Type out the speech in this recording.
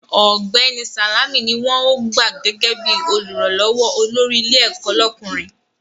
Ọ̀gbẹ́ni Sàlámì ni wọ́n ó gbà gẹ́gẹ́ bí Olùrànlọ́wọ́ olórí ilé ẹ̀kọ́ lọ́kùnrin